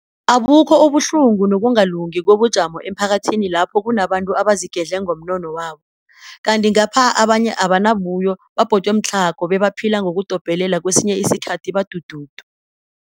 Abukho ubuhlungu nokungakalungi kobujamo emphakathini lapho kunabantu abazigedle ngomnono wabo, kanti ngapha abanye abanabuyo, babhodwe mtlhago bebaphila ngokudobhelela kesinye isikhathi badududu.